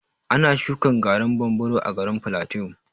Ana shuƙa garin bambaro a garin plateau.